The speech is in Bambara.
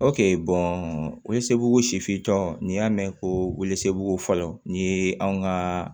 sifintɔ n'i y'a mɛn ko ko fɔlɔ ni anw ka